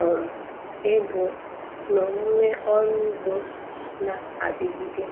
um ego n'omume ọrụ ugbo na-adigide.